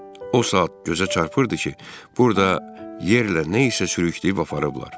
O saat gözə çarpırdı ki, burada yerlə nə isə sürüyüb aparıblar.